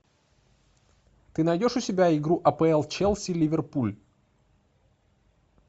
ты найдешь у себя игру апл челси ливерпуль